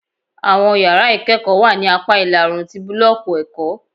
Awọn yara ikẹkọ wa ni apa ila-oorun ti bulọọki ẹkọ